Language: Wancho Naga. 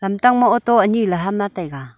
lamtang ma auto ani ley aham lah tai a.